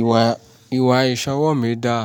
Ìwà, ìwà ìṣọwọ́ mi dá.